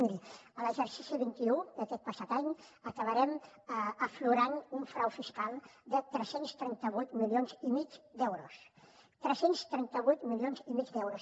miri a l’exercici vint un d’aquest passat any acabarem aflorant un frau fiscal de tres cents i trenta vuit milions i mig d’euros tres cents i trenta vuit milions i mig d’euros